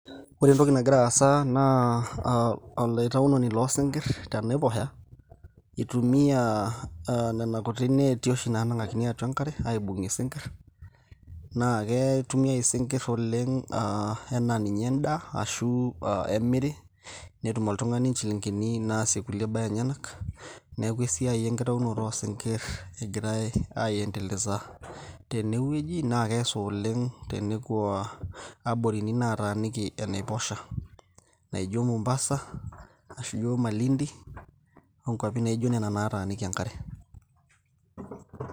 ore entoki nagira aasa naa olaitaunoni loosinkirr tenaiposha itumiyia aa nena kuti neeti oshi naanang'akini atua enkare aibung'ie isinkirr naa akeitumiay isinkirr oleng aa anaa ninye endaa ashu aa emiri netum oltung'ani inchilingini naasie kulie baa enyenak neeku esiai enkitaunoto oo sinkirr egiray aendeleza tenewueji naa keesa oleng tenekua aborini naataninki enaiposha naijo mombasa ashu ijo malindi onkuapi naijo nena naataniki enkare.